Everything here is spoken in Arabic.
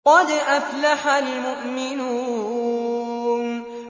قَدْ أَفْلَحَ الْمُؤْمِنُونَ